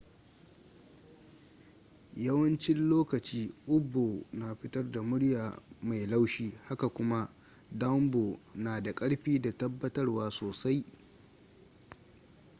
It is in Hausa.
yawancin lokoci up-bow na fitar da murya mai laushi haka kuma down-bow na da karfi da tabatarwa sosai